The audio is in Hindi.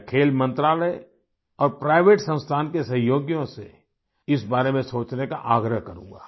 मैं खेल मंत्रालय और प्राइवेट संस्थान के सहयोगियों से इस बारे में सोचने का आग्रह करूंगा